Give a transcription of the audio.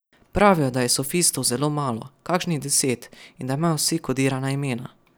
Pravijo, da je sofistov zelo malo, kakšnih deset, in da imajo vsi kodirana imena.